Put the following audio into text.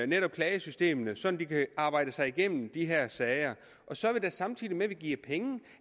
netop klagesystemerne sådan at de kan arbejde sig igennem de her sager samtidig med at vi giver penge